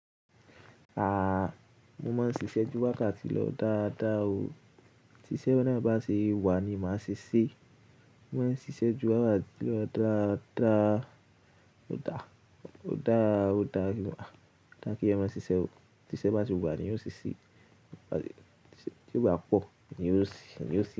A, mo máa ń ṣíṣe ju wákàtí lọ dáadáa o. Ti iṣẹ́ naá bá ṣe wà ni màá ṣe ṣe. Mo máa ń ṣíṣe ju wákàtí lọ dáadáa. Ó dá, ó dá, ó dá. Oda kí ẹyan má ṣiṣẹ́ o. Bi iṣẹ́ bá se wà ni eyan ó ṣe ṣe. Bí iṣẹ́ o bá pọ̀ ni ó ṣe, eyan ó ṣe.